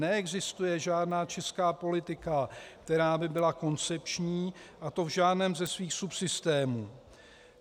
Neexistuje žádná česká politika, která by byla koncepční, a to v žádném ze svých subsystémů.